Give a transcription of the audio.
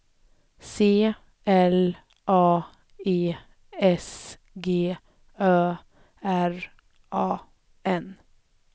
C L A E S G Ö R A N